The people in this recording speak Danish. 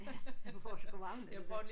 Ja. Ja man får sgu varmen